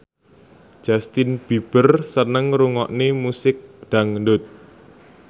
Justin Beiber seneng ngrungokne musik dangdut